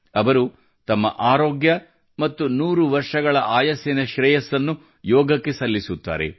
ಅವರು ತಮ್ಮ ಆರೋಗ್ಯ ಮತ್ತು 100 ವರ್ಷಗಳ ಆಯಸ್ಸಿನ ಶ್ರೇಯಸ್ಸನ್ನು ಯೋಗಕ್ಕೆ ಸಲ್ಲಿಸುತ್ತಾರೆ